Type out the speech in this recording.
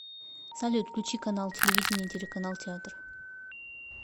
салют включи канал телевидения телеканал театр